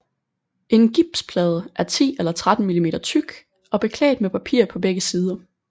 En gipsplade er 10 eller 13 mm tyk og beklædt med papir på begge sider